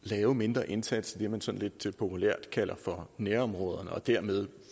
lave en mindre indsats i det man sådan lidt populært kalder for nærområderne og dermed